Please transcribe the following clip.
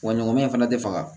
Wa ɲɔgɔnɲan in fana tɛ faga